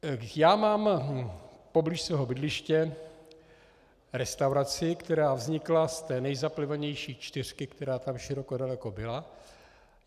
Já mám poblíž svého bydliště restauraci, která vznikla z té nejzaplivanější čtyřky, která tam široko daleko byla.